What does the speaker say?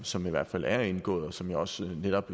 som i hvert fald er indgået og som jeg også netop